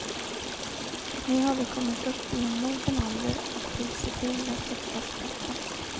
Nu har vi kommit upp i en mogen ålder och vill se till att lyckas bättre.